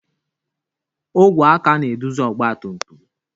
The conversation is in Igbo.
Ogwe aka na-eduzi ọgba tum tum.